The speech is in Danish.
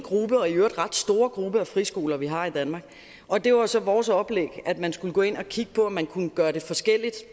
og i øvrigt ret store gruppe af friskoler vi har i danmark og det var så vores oplæg at man skulle gå ind og kigge på om man kunne gøre det forskelligt